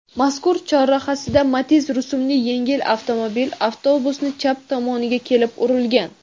mazkur chorrahasida Matiz rusumli yengil avtomobil avtobusni chap tomoniga kelib urilgan.